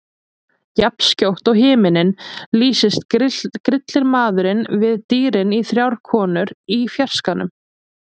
Jafnskjótt og himinninn lýstist grillti maðurinn við dýrin í þrjár konur í fjarskanum.